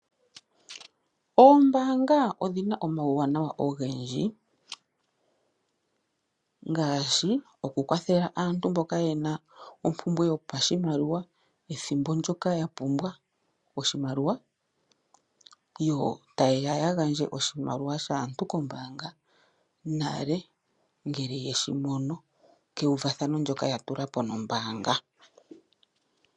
Oombaanga odhina omauwanawa ogendji ngaashi okukwathela aantu mboka yeli mompumbwe yoshimaliwa, ethimbo ndyoka yapumbwa oshimaliwa. Yo tayeya yeshigandje konale ngele yeshi mono kewuvathano ndyoka yatulapo nombaanga.